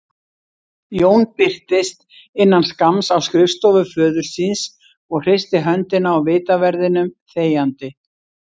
Jón birtist innan skamms á skrifstofu föður síns og hristi höndina á vitaverðinum þegjandi.